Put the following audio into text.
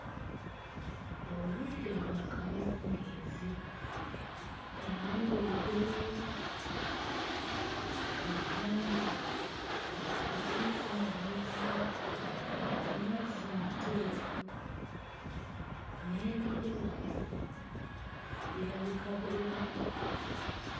Obudde bwa kawungeezi, enjuba egolooba, ku nnyanja tekuliiko mayengo, amazzi mateefu, n'ebire waggulu birabika bulungi.